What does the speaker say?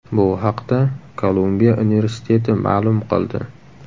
Bu haqda Kolumbiya universiteti ma’lum qildi .